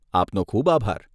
આપનો ખૂબ આભાર.